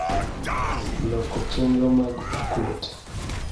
loko chenro mag okot.